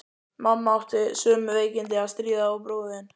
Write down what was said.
Mamma átti við sömu veikindi að stríða og bróðir þinn.